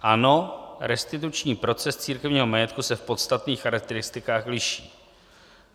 Ano, restituční proces církevního majetku se v podstatných charakteristikách liší.